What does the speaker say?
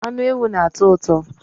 Anụ ewu na-atọ ụtọ